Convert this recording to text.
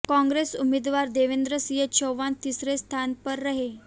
कांग्रेस उम्मीदवार देवेंद्र सिंह चौहान तीसरे स्थान पर रहें